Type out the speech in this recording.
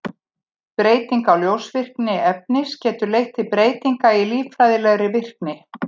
Breyting á ljósvirkni efnis getur leitt til breytinga í líffræðilegri virkni.